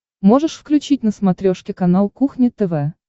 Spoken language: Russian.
можешь включить на смотрешке канал кухня тв